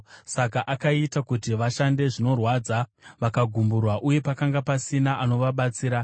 Saka akaita kuti vashande zvinorwadza; vakagumburwa, uye pakanga pasina anovabatsira.